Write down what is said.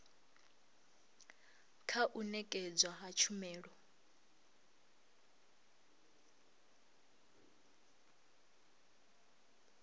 kha u nekedzwa ha tshumelo